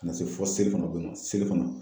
Ka na se fɔ selifanakɔ ma selifana